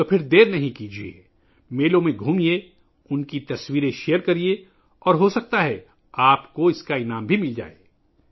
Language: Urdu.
اس لئے دیر نہ کریں، میلوں کا دورہ کریں، ان کی تصاویر شیئر کریں، اور شاید آپ انعام بھی حاصل کر سکیں